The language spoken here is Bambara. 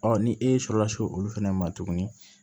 Ɔ ni e sɔrɔ la se olu fana ma tuguni